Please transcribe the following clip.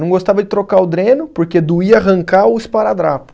Não gostava de trocar o dreno, porque doía arrancar o esparadrapo.